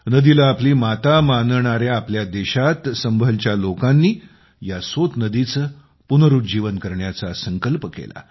नदीला आपली माता मानणाऱ्या आपल्या देशात संभळच्या लोकांनी या सोत नदीचे पुनरुज्जीवन करण्याचा संकल्प केला